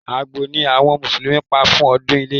Àgbò ni àwọn Mùsùlùmí pa fún ọdún iléyá